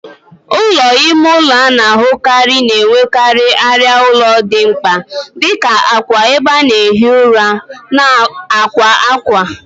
Ụlọ ime ụlọ a na-ahụkarị na-enwekarị arịa ụlọ dị mkpa dị ka akwa, ebe a na-ehi ụra, na akwa akwa.